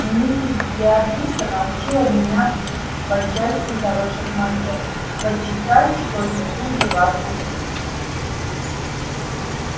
миссис беатриса научила меня по части хороших манер почитай что не хуже вас умею